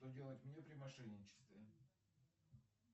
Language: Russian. что делать мне при мошенничестве